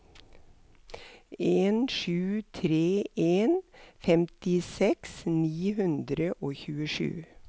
en sju tre en femtiseks ni hundre og tjuesju